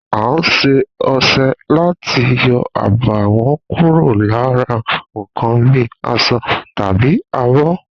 A s̩e o̩s̩e̩ láti yo̩ àbàwó̩n kúrò lára nǹkan bíi as̩o̩ tàbí abó̩